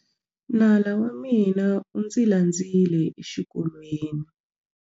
Nala wa mina u ndzi landzile exikolweni.